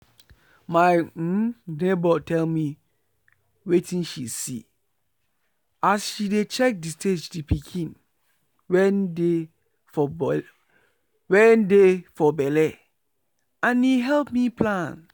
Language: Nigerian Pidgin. my um neighbour tell me wetin she see as she dey check the stage the pikin wen dey for belle and e help me plan.